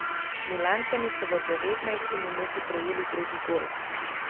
Milančani so v devetnajsti minuti prejeli drugi gol.